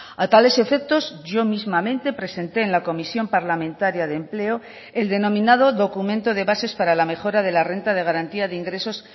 a tales efectos yo mismamente presenté en la comisión parlamentaria de empleo el denominado documento de bases para la mejora de la renta de garantía de ingresos